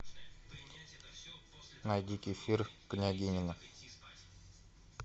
найди кефир княгинино